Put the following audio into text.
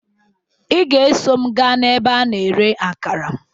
Ị ga-eso m gaa ebe a na-ere akara